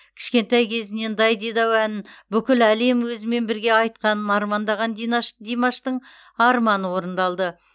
кішкентай кезінен дайдидау әнін бүкіл әлем өзімен бірге айтқанын армандаған димаштың арманы орындалды